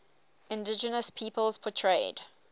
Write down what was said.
indigenous peoples portrayed